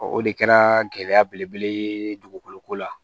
o de kɛra gɛlɛya belebele ye dugukolo ko la